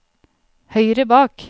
høyre bak